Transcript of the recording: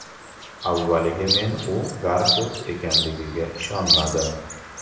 Avvaliga men u Garfild ekanligiga ishonmadim.